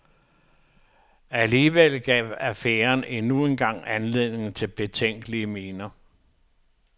Alligevel gav affæren endnu en gang anledning til betænkelige miner.